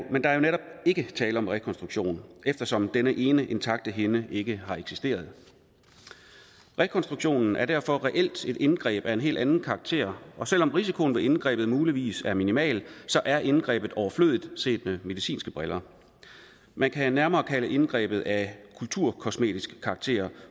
netop ikke tale om rekonstruktion eftersom denne ene intakte hinde ikke har eksisteret rekonstruktionen er derfor reelt et indgreb af en helt anden karakter og selv om risikoen ved indgrebet muligvis er minimal er indgrebet overflødigt set med medicinske briller man kan nærmere at indgrebet er af kulturkosmetisk karakter